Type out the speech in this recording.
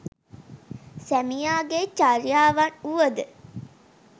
සැමියාගේ චර්යාවන් වුවද